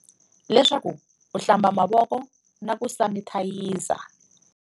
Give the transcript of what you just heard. Leswaku u hlamba mavoko na ku sanithayiza.